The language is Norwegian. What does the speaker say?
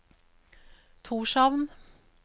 Tórshavn